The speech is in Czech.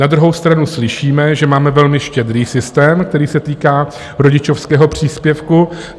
Na druhou stranu slyšíme, že máme velmi štědrý systém, který se týká rodičovského příspěvku.